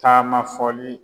Taama fɔli.